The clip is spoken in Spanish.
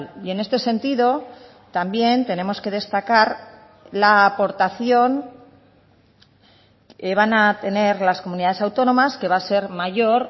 y en este sentido también tenemos que destacar la aportación van a tener las comunidades autónomas que va a ser mayor